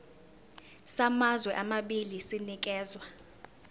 samazwe amabili sinikezwa